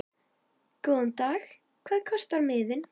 Góðan dag. Hvað kostar miðinn?